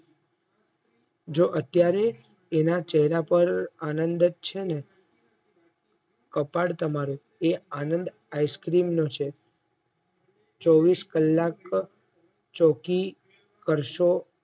જો અત્યારે એના ચેહરા પર આનંદ જ છે ને કપાળ તમારું એ આનંદ Ice cream નું છે ચોવીશ કલાક ચોકી કરશો